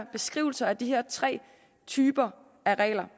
beskrivelser af de her tre typer af regler